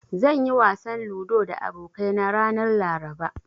Zan yi wasan ludo da abokaina ranar Laraba.